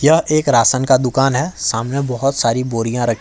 यह एक राशन का दुकान है सामने बहुत सारी बोरियां रखी--